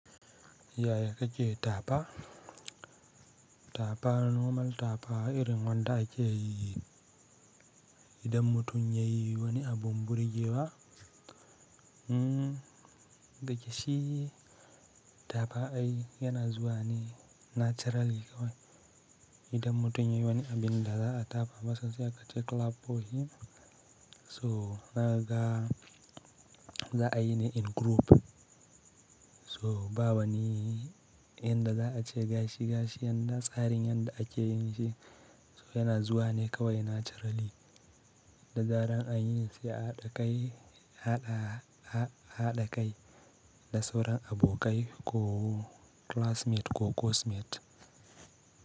Yaya kake cewa tapa? Tapa normal tapa irin wanda ake yi idan mutum ya yi wani abu burigewa dake shi tafa ai yana zuwa ne naturally kawai idan mutum ya yi wani abin da za a tafa masa sai ka ce clap for him. So ka ga za a yi ne in group. So ba wani yanda za a ce gashi gashi, yadda tsarin yadda ake yin shi so yana zuwa ne kawai naturally. Da zaran anyi s a haɗa kai, haɗa kai da sauran abokai ko classmate ko course mate.